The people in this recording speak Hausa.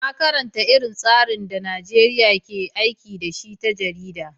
Na karanta irin tsarin da Najeriya ke aiki da shi ta jarida.